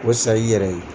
O sa i yɛrɛ ye